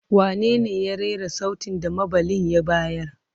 Wanene ya rera sautin da maɓalli ya bayar?